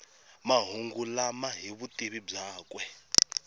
mahungu lama hi vutivi byakwe